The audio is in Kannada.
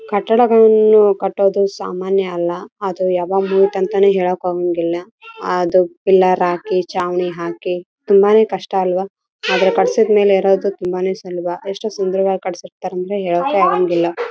ತಂತಿಗಳನ್ನು ನಿಲ್ಲಿಸಿದ್ದಾರೆ ಇಲ್ಲಿ ದೊಡ್ಡ ದೊಡ್ಡ ಮರಗಳಿಗೆ ಚಿಕ್ಕ ಚಿಕ್ಕ ಗಿಡಗಳಿವೆ ಒಂದು ಪೈಪ್ ಕೂಡ ನೋಡಲು ಸಿಗುತ್ತದೆ.